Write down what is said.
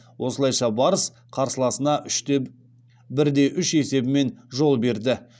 осылайша барыс қарсыласына бірде үш есебімен жол берді